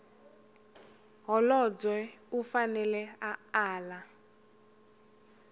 holobye u fanele a ala